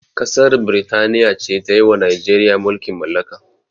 Ƙasar birtaniya ce tayiwa najeriya mulkin mallaka